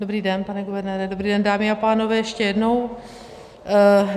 Dobrý den, pane guvernére, dobrý den, dámy a pánové ještě jednou.